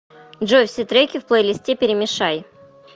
джой все треки в плейлисте перемешай